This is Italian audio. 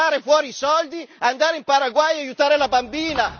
Tirare fuori i soldi, andare in Paraguay e aiutare la bambina!